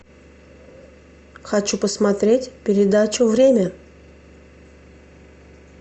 хочу посмотреть передачу время